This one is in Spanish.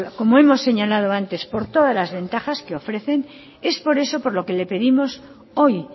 como hemos señalado antes por todas las ventajas que ofrecen es por eso por lo que pedimos hoy